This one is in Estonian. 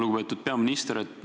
Lugupeetud peaminister!